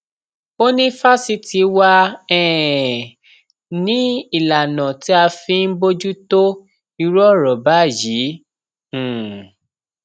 ó ní fásitì wá um ni ìlànà tá a fi ń bójútó irú ọrọ báyìí um